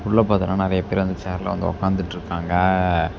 உள்ள பாத்தேனா நெறைய பேர் அந்த சேர்ல உக்காந்துட்டு இருக்காங்க அ.